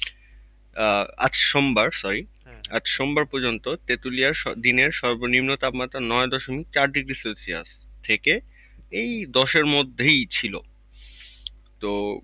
আহ আজ সোমবার sorry আজ সোমবার পর্যন্ত তেঁতুলিয়ার দিনের সর্বনিম্ন তাপমাত্রা নয়দশমিক চার degrees celsius এই দশের মধ্যেই ছিল। তো,